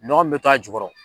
Nɔgɔ min bɛ to a jukɔrɔ